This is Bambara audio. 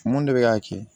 Mun de bɛ k'a kɛ